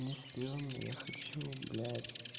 мне страшно я хочу блять